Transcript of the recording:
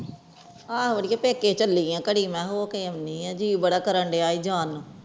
ਆਹੋ ਅੜੀਏ ਪੇਕੇ ਚਲੀ ਆ ਘਰਿ ਮੈਂ ਹੋ ਕੇ ਐਂਡੀ ਆ ਜੀ ਬੜਾ ਕਰਨ ਦਿਆਂ ਜਾਨ ਨੂੰ